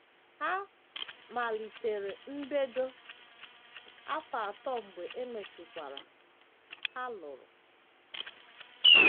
Ha malitere mbedo, afọ atọ mgbe e mesịkwara, ha lụrụ.